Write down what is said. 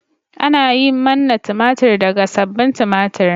Ana yin manna tumatir daga sabbin tumatir.